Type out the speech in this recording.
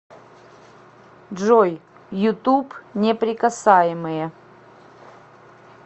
джой ютуб неприкасаемые